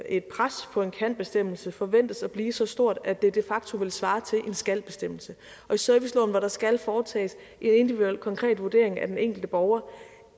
et pres på en kanbestemmelse forventes at blive så stort at det de facto vil svare til en skalbestemmelse i serviceloven hvor der skal foretages en individuel konkret vurdering af den enkelte borger